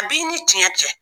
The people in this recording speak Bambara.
A b'i ni tiɲɛ cɛ